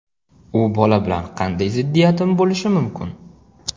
U bola bilan qanday ziddiyatim bo‘lishi mumkin.